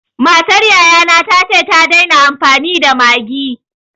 Matar yaya na ta ce ta daina amfani da Maggi.